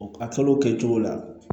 A kalo kɛ cogo la